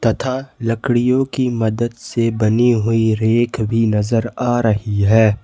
तथा लकड़ियों की मदद से बनी हुई रैक भी नजर आ रही है।